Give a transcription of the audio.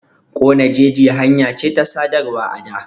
Ƙone jeji hanya ce ta sadarwa a da.